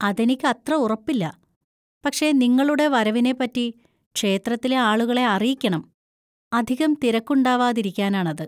അതെനിക്കത്ര ഉറപ്പില്ല, പക്ഷെ നിങ്ങളുടെ വരവിനെ പറ്റി ക്ഷേത്രത്തിലെ ആളുകളെ അറിയിക്കണം, അധികം തിരക്കുണ്ടാവാതിരിക്കാനാണത്.